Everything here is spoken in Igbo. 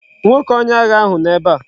Nwoke onye agha ahu no ebe a